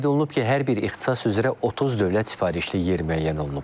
Qeyd olunub ki, hər bir ixtisas üzrə 30 dövlət sifarişli yer müəyyən olunub.